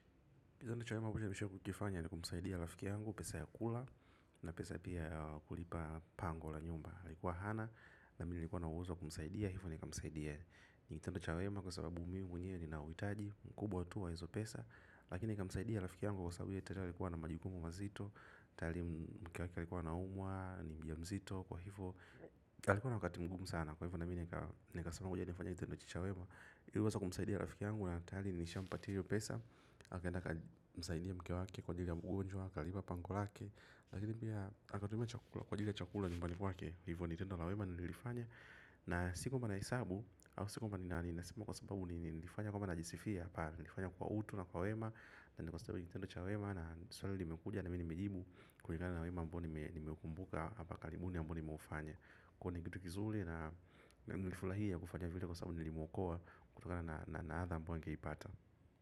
Kwa hivyo kitu cha muhimu ambacho nishawahi kukifanya ni kumsaidia rafiki yangu pesa ya kula na pesa pia ya kulipa pango la nyumba. Alikuwa hana na mi nilikuwa na uwezo wa kumsaidia. Hivyo nikamsaidia. Ni kitendo cha wema kwa sababu mimi mwenyewe ni nauhitaji. Mkubwa tu wa hizo pesa. Lakini nikamsaidia rafiki yangu kwa sababu yeye tayari alikuwa na majukumu mazito. Tayari mke wake alikuwa anaumwa ni mjamzito kwa hivyo. Alikuwa na wakati mgumu sana. Kwa hivyo na mi nikasema ngoja nifanye kitendo hicho cha wema ili niweze kumsaidia rafiki yangu na tayari nilishampatia hiyo pesa akaenda akamsaidia mke wake kwa ajili ya ugonjwa, akalipa pango lake lakini pia akatumia kwa ajili ya chakula nyumbani wake, hivo ni tendo la wema nililofanya na si kwamba nahesabu au si kwamba ninaringa nasima kwa sababu nilifanya kwa mpani ajisifia nilifanya kwa utu na kwa wema na nikostewe Nintendo cha wema na sweli limekuja na minimejibu kwenye kana na wema mbua ni meukumbuka hapa kalimuni mbua ni maufanya kwenye gitu kizuli na nilifurahia kufanya vile kwa sababu nilimuokoa kutokana na na adha ambayo angeipata.